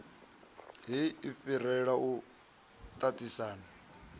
heyi a fhirela u tatisana